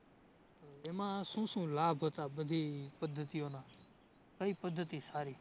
એમાં શું શું લાભ હતા બધી પદ્ધતિઓના? કઈ પદ્ધતિ સારી?